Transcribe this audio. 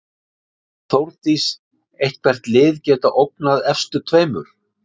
Sér Þórdís einhver lið geta ógnað efstu tveimur?